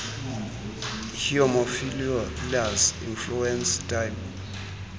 haemophilus influenza type